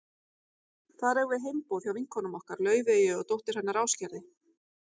Þar eigum við heimboð hjá vinkonum okkar, Laufeyju og dóttur hennar Ásgerði.